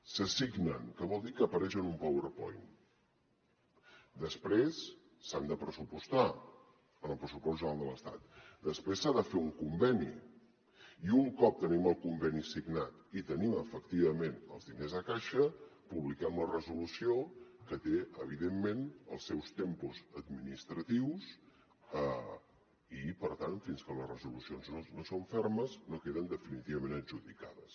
s’assignen que vol dir que apareixen en un powerpoint després s’han de pressupostar en el pressupost general de l’estat després s’ha de fer un conveni i un cop tenim el conveni signat i tenim efectivament els diners a caixa publiquem la resolució que té evidentment els seus tempos administratius i per tant fins que les resolucions no són fermes no queden definitivament adjudicades